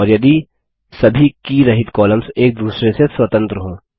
और यदि सभी की रहित कॉलम्स एक दूसरे से स्वतंत्र हों